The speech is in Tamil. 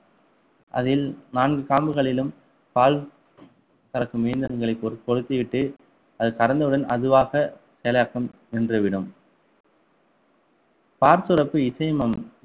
அதில் நான்கு காம்புகளிலும் பால் கறக்கும் இயந்திரங்களை பொறுத்திவிட்டு அது கறந்தவுடன் அதுவாக செயலாக்கம் நின்றுவிடும் பால் சுரப்பு இசைமம்